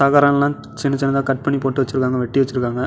தகரம்லாம் சின்ன சின்னதா கட் பண்ணி போடுவச்சிருக்காங்க வெட்டி வெச்சிருக்காங்க.